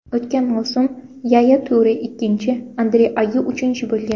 O‘tgan mavsum Yaya Ture ikkinchi, Andre Ayyu uchinchi bo‘lgan.